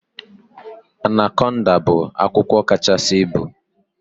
Anaconda bụ agwọ kachasi ịbu